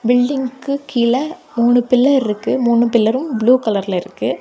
பில்டிங்க்கு கீழ மூனு பில்லர் இருக்கு மூனு பில்லரும் ப்ளூ கலர்ல இருக்கு.